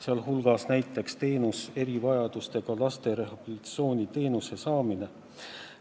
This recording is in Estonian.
Sealhulgas paraneb näiteks erivajadustega laste rehabilitatsiooniteenuse saamine.